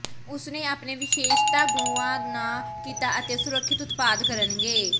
ਉਸ ਨੇ ਆਪਣੇ ਵਿਸ਼ੇਸ਼ਤਾ ਗੁਆ ਨਾ ਕੀਤਾ ਅਤੇ ਸੁਰੱਖਿਅਤ ਉਤਪਾਦ ਕਰਨਗੇ